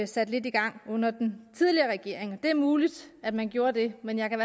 sat lidt i gang under den tidligere regering det er muligt at man gjorde det men jeg kan